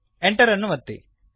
Enter ಅನ್ನು ಒತ್ತಿರಿ